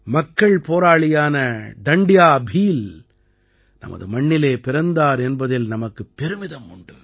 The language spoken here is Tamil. மக்கள் போராளியான டண்ட்யா பீல் நமது மண்ணிலே பிறந்தார் என்பதில் நமக்குப் பெருமிதம் உண்டு